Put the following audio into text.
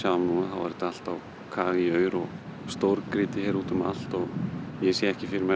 er þetta allt á kafi í aur og stórgrýti hér út um allt og ég sé ekki fyrir mér